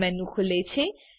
સબ menu ખુલે છે